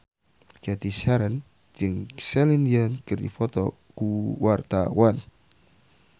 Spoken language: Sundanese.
Cathy Sharon jeung Celine Dion keur dipoto ku wartawan